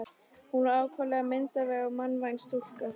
Hún var ákaflega myndarleg og mannvænleg stúlka.